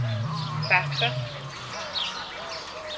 faxer